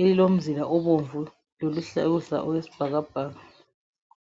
elilomzila obomvu loluhlaza okwesibhakabhaka